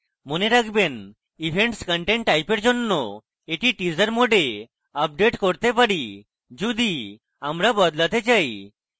mode রাখবেন events content type এর জন্য এটি teaser mode we আপডেট করতে পারি যদি আমরা বদলাতে চাই